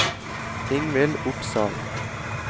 Ingvill Opsahl